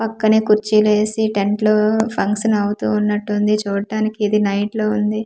పక్కనే కుర్చీలు వేసి టెంట్లు ఫంక్షన్ అవుతు ఉన్నట్లు ఉంది చూట్టానికి ఇది నైట్ లో ఉంది.